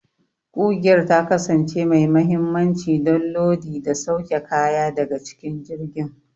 Ƙugiyar ta kasance mai mahimmanci don lodi da sauke kaya daga cikin jirgin.